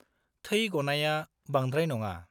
थै गनाया बांद्राय नङा।